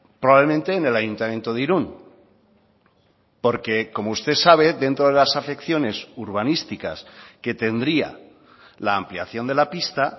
probablemente en el ayuntamiento de irun porque como usted sabe dentro de las afecciones urbanísticas que tendría la ampliación de la pista